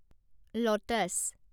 lotus